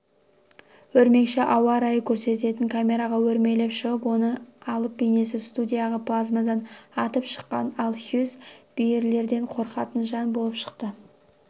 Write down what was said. өрмекші ауа райын көрсететін камераға өрмелеп шығып оның алып бейнесі студиядағы плазмадан атып шыққан ал хьюз бүйілерден қорқатын жан болып шықты